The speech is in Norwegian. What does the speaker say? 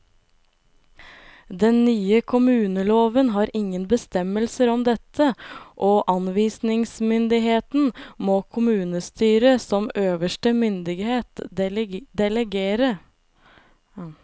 Den nye kommuneloven har ingen bestemmelser om dette, og anvisningsmyndigheten må kommunestyret som øverste myndighet delegere.